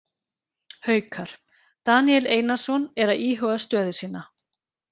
Haukar: Daníel Einarsson er að íhuga stöðu sína.